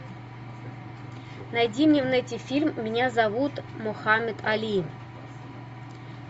найди мне в нете фильм меня зовут мохаммед али